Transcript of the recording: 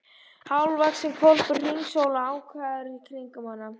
Hálfvaxinn hvolpur hringsólaði ákafur í kringum hana.